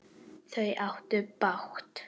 Þau áttu bágt!